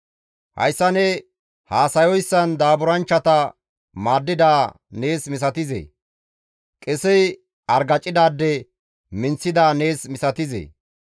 «Hayssa ne haasayoyssan daaburanchchata maaddida nees misatizee? Qesey argacidaade minththida nees misatizee?